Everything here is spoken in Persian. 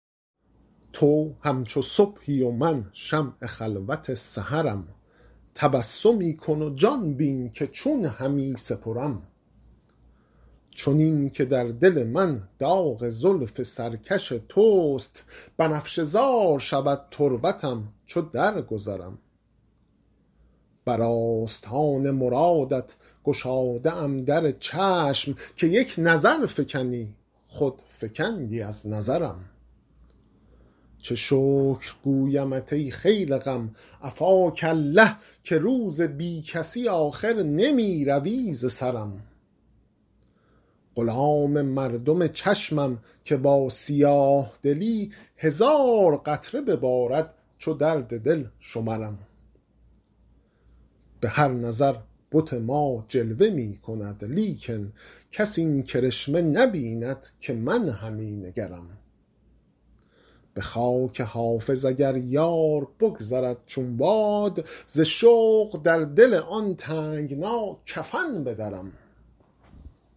تو همچو صبحی و من شمع خلوت سحرم تبسمی کن و جان بین که چون همی سپرم چنین که در دل من داغ زلف سرکش توست بنفشه زار شود تربتم چو درگذرم بر آستان مرادت گشاده ام در چشم که یک نظر فکنی خود فکندی از نظرم چه شکر گویمت ای خیل غم عفاک الله که روز بی کسی آخر نمی روی ز سرم غلام مردم چشمم که با سیاه دلی هزار قطره ببارد چو درد دل شمرم به هر نظر بت ما جلوه می کند لیکن کس این کرشمه نبیند که من همی نگرم به خاک حافظ اگر یار بگذرد چون باد ز شوق در دل آن تنگنا کفن بدرم